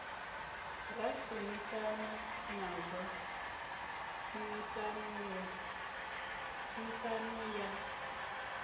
ra shumisana nazwo tshumisano ya